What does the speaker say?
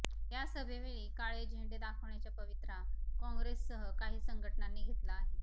या सभेवेळी काळे झेंडे दाखवण्याच्या पवित्रा काँग्रेससह काही संघटनांनी घेतला आहे